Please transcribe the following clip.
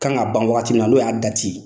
Ka kan ka ban waati min n'o y'a dati ye.